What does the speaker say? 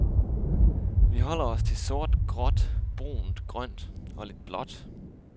Vi holder os til sort, gråt, brunt, grønt og lidt blåt.